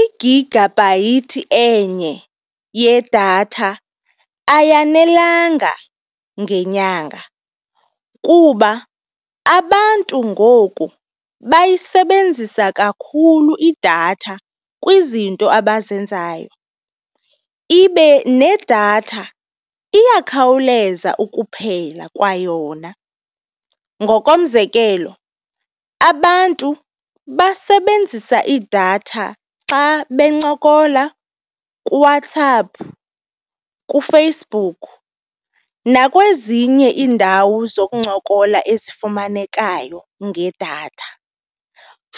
Igigabhayithi enye yedatha ayanelanga ngenyanga kuba abantu ngoku bayisebenzisa kakhulu idatha kwizinto abazenzayo, ibe nedatha iyakhawuleza ukuphela kwayona. Ngokomzekelo, abantu basebenzisa idatha xa bencokola kuWhatsApp, kuFacebook nakwezinye iindawo zokuncokola ezifumanekayo ngedatha.